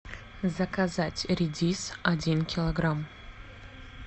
заказать редис один килограмм